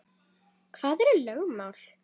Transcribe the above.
Hvað eru lögmál?